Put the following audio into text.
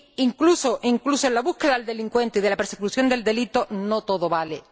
Incluso en la búsqueda del delincuente y en la persecución del delito no todo vale.